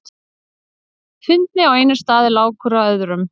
Fyndni á einum stað er lágkúra á öðrum.